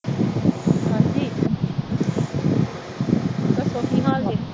ਹਾਂਜੀ ਦੱਸੋ ਕੀ ਹਾਲ ਏ।